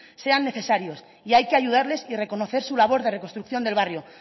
sean necesarios y hay que ayudarles y reconocer su labor de reconstrucción del barrio